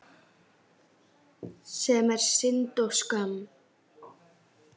Þarftu svona mikið land?